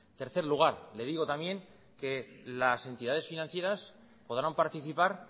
tercer lugar le digo también que las entidades financieras podrán participar